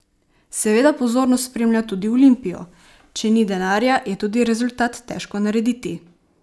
Seveda pozorno spremlja tudi Olimpijo: "Če ni denarja, je tudi rezultat težko narediti.